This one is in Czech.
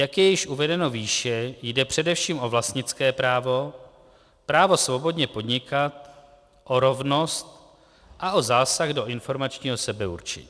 Jak je již uvedeno výše, jde především o vlastnické právo, právo svobodně podnikat, o rovnost a o zásah do informačního sebeurčení.